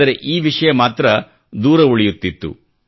ಆದರೆ ಈ ವಿಷಯ ಮಾತ್ರ ದೂರ ಉಳಿಯುತ್ತಿತ್ತು